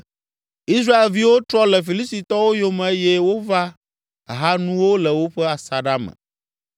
Israelviwo trɔ le Filistitɔwo yome eye wova ha nuwo le woƒe asaɖa me.